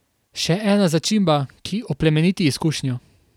Še ena začimba, ki oplemeniti izkušnjo.